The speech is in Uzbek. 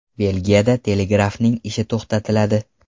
Belgiyada telegrafning ishi to‘xtatiladi.